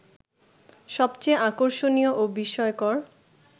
সবচেয়ে আকর্ষণীয় ও বিস্ময়কর